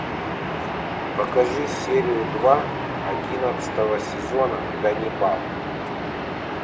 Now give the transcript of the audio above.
покажи серию два одиннадцатого сезона ганнибал